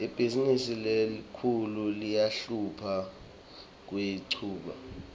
ibhizimisi lenkhulu iyahlupha kuyichuba